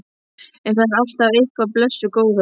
Það er alltaf eitthvað, blessuð góða.